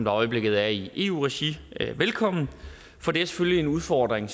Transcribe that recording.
øjeblikket er i eu regi velkommen for det er selvfølgelig en udfordring